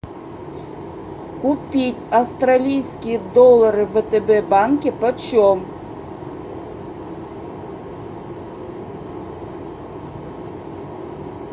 купить австралийские доллары в втб банке почем